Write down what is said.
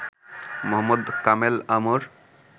Mohammad Kamel Amr